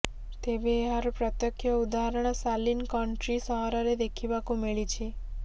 ତେବେ ଏହାର ପ୍ରତ୍ୟକ୍ଷ ଉଦାହରଣ ସାଲିନକନଟ୍ରି ସହରରେ ଦେଖିବାକୁ ମିଳିଛି